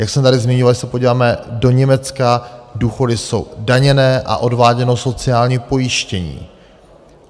Jak jsem tady zmiňoval, když se podíváme do Německa, důchody jsou daněné a odváděno sociální pojištění.